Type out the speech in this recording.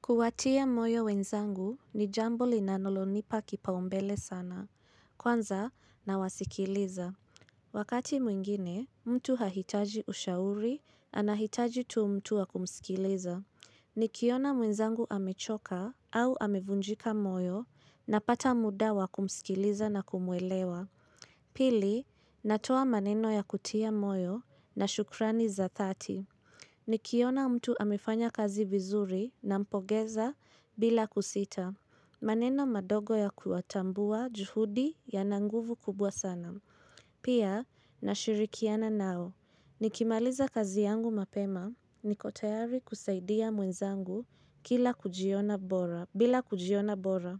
Kuwatia moyo wenzangu ni jambo linalonipa kipau mbele sana, kwanza nawasikiliza. Wakati mwingine, mtu hahitaji ushauri anahitaji tu mtu wa kumsikiliza. Nikiona mwenzangu amechoka au amevunjika moyo napata muda wakumsikiliza na kumwelewa. Pili, natoa maneno ya kutia moyo na shukrani za dhati. Nikiona mtu amefanya kazi vizuri nampongeza bila kusita. Maneno madogo ya kuatambua juhudi yana nguvu kubwa sana. Pia, nashirikiana nao. Nikimaliza kazi yangu mapema, niko tayari kusaidia mwenzangu bila kujiona bora.